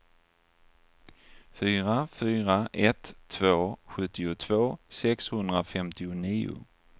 fyra fyra ett två sjuttiotvå sexhundrafemtionio